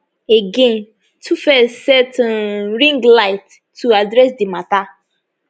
again tuface set um ring light to address to address di mata